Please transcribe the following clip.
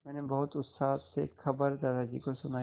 मैंने बहुत उत्साह से खबर दादाजी को सुनाई